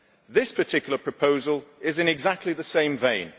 This particular proposal is in exactly the same vein.